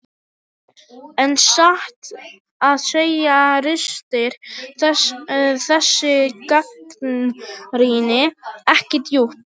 En satt að segja ristir þessi gagnrýni ekki djúpt.